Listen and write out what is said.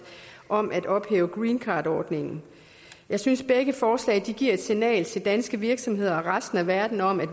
om at ophæve greencardordningen jeg synes begge forslag giver et negativt signal til danske virksomheder og resten af verden om at